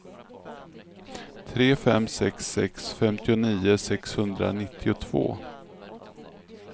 tre fem sex sex femtionio sexhundranittiotvå